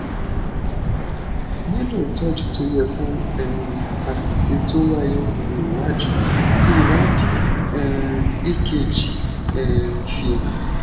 nilo ìtọjú tó yẹ fún um àṣìṣe tó wáyé ní iwájú ti ìwádìí um ekg um fi han